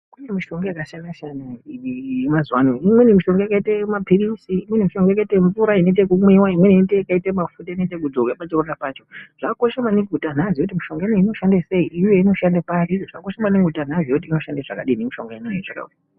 Kune mishonga yakasiyana-siyana yemazuva ano iwweni mishonga yakaita maphirisi. Imweni mishonga yakaite mvura yekumwiva. Imweni yakaite mafuta anoite ekudzorwa pachironda pacho. Zvakakosha maningi kuti antu azove kuti mishonga ino iyi inoshanda sei uye inoshanda pari zvakakosha maningi kuti vantu vazive kuti inoshanda zvakadini mishonga inoiyi.